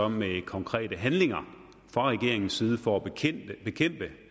med konkrete handlinger fra regeringens side for